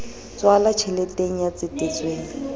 h tswala tjheleteng ya tsetetsweng